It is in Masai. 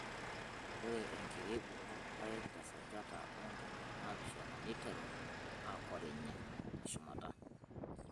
ore enkirebuk orpaek teesajata oo ntomoni naapishana neiteru aakorinye teshumata.